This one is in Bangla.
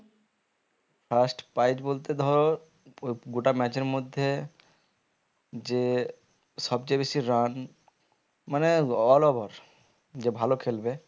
first prize বলতে ধর গোটা match এর মধ্যে যে সব চেয়ে বেশি run মানে all over যে ভালো খেলবে